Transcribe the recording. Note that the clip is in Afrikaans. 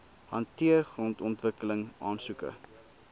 hanteer grondontwikkeling aansoeke